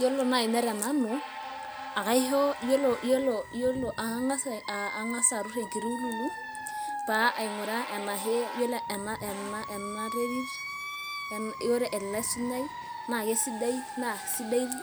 Yiolo naai ine te nanu akang'as aturr enkiti ululu pee aing'uraa ena yiolo ena terit ele sunyai naa kesidai